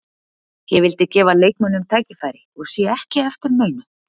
Ég vildi gefa leikmönnum tækifæri og sé ekki eftir neinu.